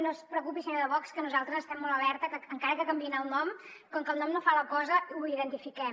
no es preocupi senyor de vox que nosaltres estem molt alerta que encara que en canviïn el nom com que el nom no fa la cosa ho identifiquem